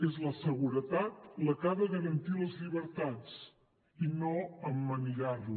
és la seguretat la que ha de garantir les llibertats i no emmanillar les